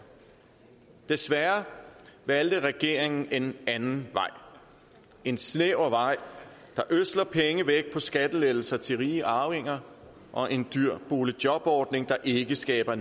desværre valgte regeringen en anden vej en snæver vej der ødsler penge væk på skattelettelser til rige arvinger og en dyr boligjobordning der ikke skaber